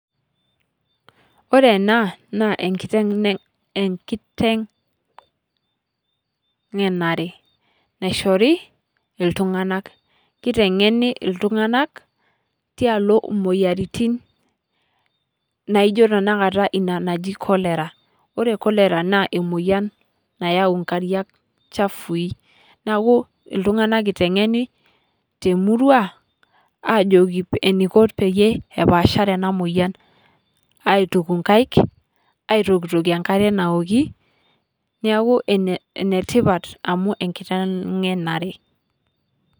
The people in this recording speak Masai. Ore ena naa enkitengenare naishori iltunganak ,kitengeni iltunganak tialo imoyiaritin naijo tenakata inanaji cholera ,ore cholera naa emoyian nayau nkariak chafui , niaku iltunganak itengeni temurua ajoki eniko peyie epaashare enamoyian aituku nkaik , aitokitokie enkare naoki niaku enetipat amu enkitengenare.